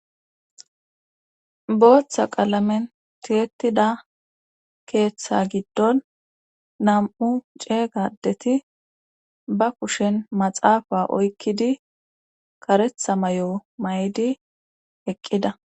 Booththa qalamen tiyettida keeththa giddon nam7u ceeygadeti ba kushen maxaafa oykkidi karetha may7o may7di eqqida